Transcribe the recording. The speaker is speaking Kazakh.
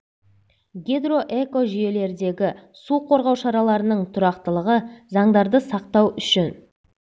гидроэкожүйелердегі су қорғау шараларының тұрақтылығы заңдарды сақтау үшін